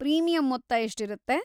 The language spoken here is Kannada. ಪ್ರೀಮಿಯಮ್ ಮೊತ್ತ ಎಷ್ಟಿರತ್ತೆ?